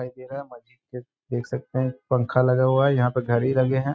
दिखाई दे रहा है। मस्जिद है देख सकते हैं। पंखा लगा हुआ है। यहाँ पे घडी लगे हैं।